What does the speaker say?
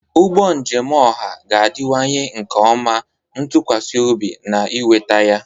Ụgbọ njem ọha ga-adịwanye nke ọma, ntụkwasị obi, na ịnweta ya.